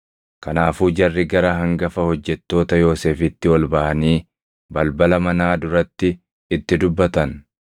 Kanaafuu jarri gara hangafa hojjettoota Yoosefitti ol baʼanii balbala manaa duratti itti dubbatan.